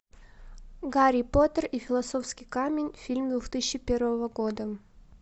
гарри поттер и философский камень фильм две тысячи первого года